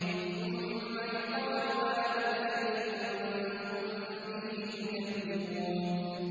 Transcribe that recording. ثُمَّ يُقَالُ هَٰذَا الَّذِي كُنتُم بِهِ تُكَذِّبُونَ